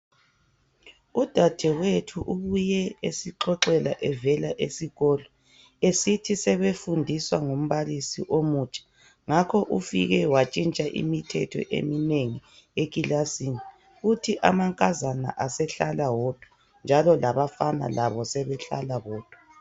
Udadewethu ubuye esixoxela evela esikolo esithi sebefundiswa ngumbalisi omutsha, ngakho ufike watshintsha imithetho eminengi ekilasini uthi amankazana asehlala wodwa njalo labafana labo sebehlala bodwa.